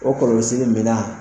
O kɔlɔmisiri minan